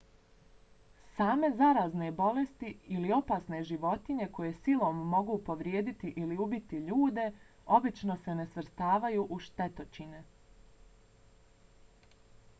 same zarazne bolesti ili opasne životinje koje silom mogu povrijediti ili ubiti ljude obično se ne svrstavaju u štetočine